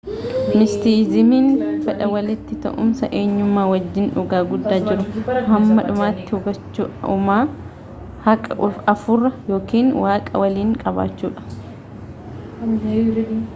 mistisizimiin fedha walitti ta’uumsa enyummaa wajjiin dhugaa guddaa jiruu hamma dhumaatti hubachuu uumaa haaqa afuuraa yookiin waaqa waliin qabaachuudha